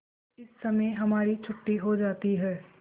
इस समय हमारी छुट्टी हो जाती है